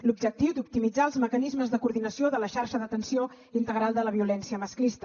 l’objectiu d’optimitzar els mecanismes de coordinació de la xarxa d’atenció integral de la violència masclista